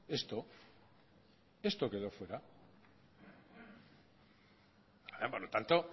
esto esto quedo fuera por lo tanto